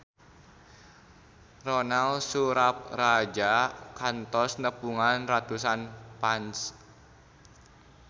Ronal Surapradja kantos nepungan ratusan fans